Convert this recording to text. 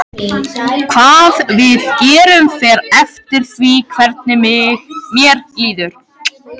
Hvað við gerum fer eftir því hvernig mér líður.